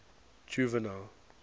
juvenal